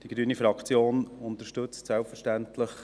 Die grüne Fraktion unterstützt diesen Antrag selbstverständlich.